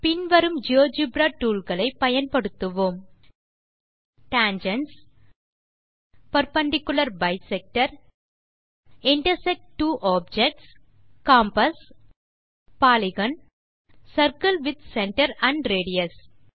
பின் வரும் GeoGebra tools ஐ பயன்படுத்துவோம் Tangents Perpendicular bisector Intersect two objects Compass Polygon Circle with centre and radius